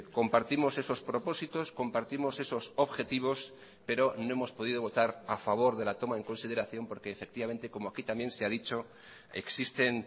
compartimos esos propósitos compartimos esos objetivos pero no hemos podido votar a favor de la toma en consideración porque efectivamente como aquí también se ha dicho existen